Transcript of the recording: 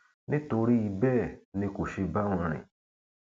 nítorí bẹẹ ni kò ṣe bá wọn rìn